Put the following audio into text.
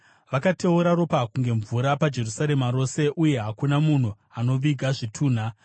Vakateura ropa kunge mvura paJerusarema rose, uye hakuna munhu anoviga zvitunha.